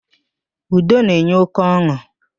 Udo na-enye óké ọn̄ụ.